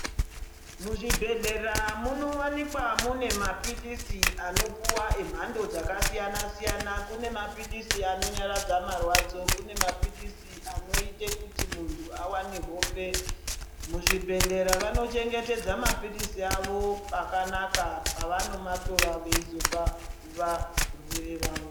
Muzvibhodhlera munowanika mune maphilizi anopuwa emhando dzakasiyana , kune maphilizi anonyaradza marwadzo ,kune maphilizi anoite kuti muntu awane hope. Muzvibhodhlera vanochengetedza maphilizi avo pakanaka pavanomatora veizopa varwere vavo.